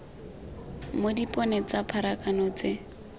mo dipone tsa pharakano tse